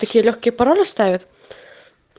такие лёгкие пароли ставят